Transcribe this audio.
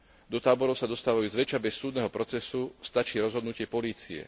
Do táborov sa dostávajú zväčša bez súdneho procesu, stačí rozhodnutie polície.